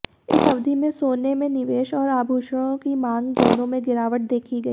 इस अवधि में सोने में निवेश और आभूषणों की मांग दोनों में गिरावट देखी गई